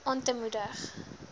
aan te moedig